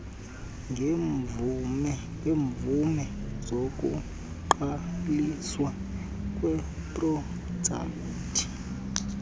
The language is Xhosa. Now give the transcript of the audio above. ngeemvume zokuqaliswa kweeprojekti